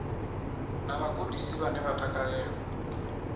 na vhagudisi vhane vha takalela